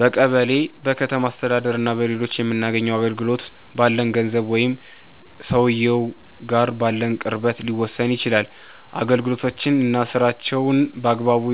በቀበሌ፣ በከተማ አስተዳደር እና በሌሎችም የምናገኘው አገልግሎት፣ ባለን ገንዘብ ወይም ሰውየው ጋር ባለን ቅርበት ሊወሰን ይችላል። አገልጋዮች እና ስራቸውን በአግባቡ